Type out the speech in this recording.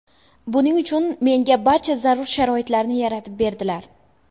Buning uchun menga barcha zarur sharoitlarni yaratib berdilar.